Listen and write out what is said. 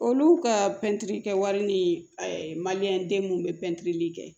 Olu ka pɛntiri kɛ wari ni maliyɛnden minnu bɛ pɛntiri kɛ